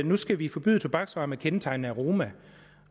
nu skal vi forbyde tobaksvarer med kendetegnende aroma